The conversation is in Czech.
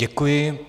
Děkuji.